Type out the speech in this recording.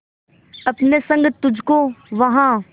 अपने संग तुझको वहां